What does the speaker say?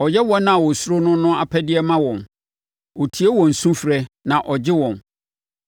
Ɔyɛ wɔn a wɔsuro no no apɛdeɛ ma wɔn; ɔtie wɔn sufrɛ na ɔgye wɔn.